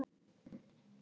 fyrr í dag.